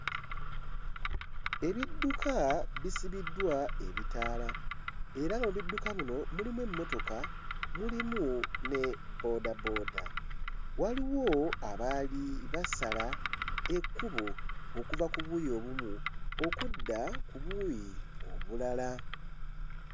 Ebidduka bisibiddwa ebitaala era nga mu bidduka muno mulimu emmotoka mulimu ne bboodabooda. Waliwo abaali basala ekkubo okuva ku buuyi obumu okudda ku buuyi obulala.